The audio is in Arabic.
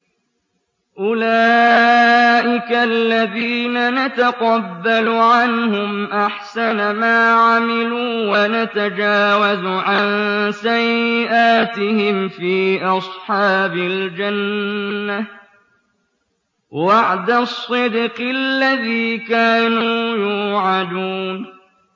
أُولَٰئِكَ الَّذِينَ نَتَقَبَّلُ عَنْهُمْ أَحْسَنَ مَا عَمِلُوا وَنَتَجَاوَزُ عَن سَيِّئَاتِهِمْ فِي أَصْحَابِ الْجَنَّةِ ۖ وَعْدَ الصِّدْقِ الَّذِي كَانُوا يُوعَدُونَ